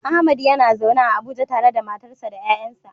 Ahmad yana zaune a Abuja tare da matarsa ​​da ƴaƴansa.